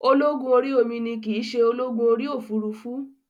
Ológun orí omi ni kìí se ológun orí òfurufú